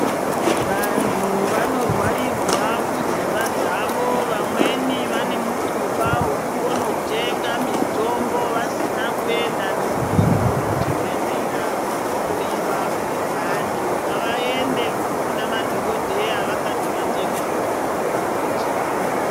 Vantu vanorwarirwa kudzimba dzavo, vamweni vane mutxuba wekungonotenga mitombo vasina kuyenda nemuntu kuchibhedhlera kunohloyiwa, vantu ngavayende kunoona madhokodheya vasati vatenga mitombo yechiyungu.